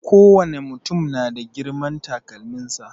Kowane mutum na da girman takalmin sa.